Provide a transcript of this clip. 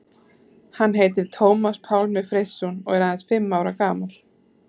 Hann heitir Tómas Pálmi Freysson og er aðeins fimm ára gamall.